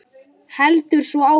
GRÍMUR: Hálfan!